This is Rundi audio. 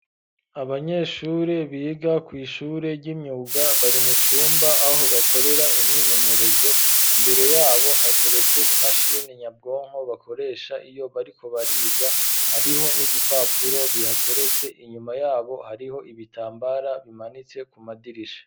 Abanyeshure biga kw'ishure ry'imyuga, bari mu cumba aho bakorera imyimenyerezo; imbere y'abo hateretse imashini nyabwonko, bakoresha iyo bariko bariga, hariho n'ibipapuro bihateretse; inyuma y'abo hariho ibitambara bimanitse ku madirisha.